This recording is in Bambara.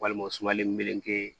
Walima sumalen meleke